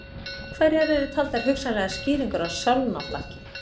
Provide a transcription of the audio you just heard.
Hverjar eru taldar hugsanlegar skýringar á sálnaflakki?